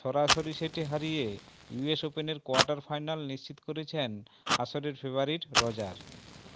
সরাসরি সেটে হারিয়ে ইউএস ওপেনের কোয়ার্টার ফাইনাল নিশ্চিত করেছেন আসরের ফেভারিট রজার